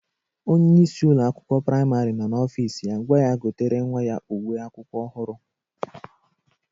Onyeisi Ụlọ akwụkwọ praịmarị nọ n'ọfịs ya gwa ya gotere nwa ya uwe akwụkwọ ohuru.